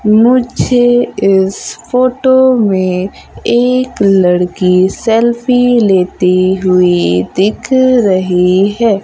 मुझे इस फोटो में एक लड़की सेल्फी लेती हुई दिख रही हैं।